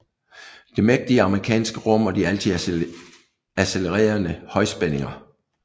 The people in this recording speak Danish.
Det mægtige amerikanske rum og de altid accelererende højspændinger